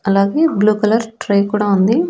అలాగే blue colour tray కూడా ఉంది.